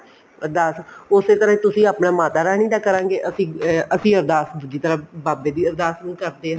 ਅਰਦਾਸ ਉਸੇ ਤਰ੍ਹਾਂ ਹੀ ਤੁਸੀਂ ਆਪਣੀ ਮਾਤਾ ਰਾਣੀ ਦਾ ਕਰਾਂਗੇ ਅਸੀਂ ਅਰਦਾਸ ਦੂਜੀ ਤਰ੍ਹਾਂ ਬਾਬੇ ਦੀ ਅਰਦਾਸ ਕਰਦੇ